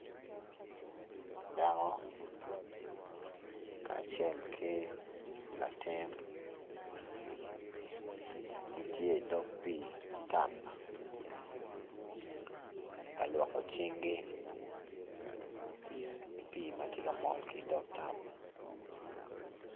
Dako kacel ki latin gitye idog pii tap ka lwoko cinggi ki pii ma ti ka mol ki idog tap